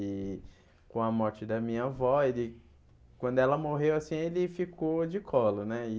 E com a morte da minha avó, ele quando ela morreu assim, ele ficou de colo né e.